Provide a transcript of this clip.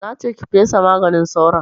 Na ce ki fesa maganin sauron!